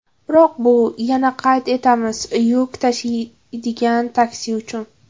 Biroq bu, yana qayd etamiz, yuk tashiydigan taksi uchun.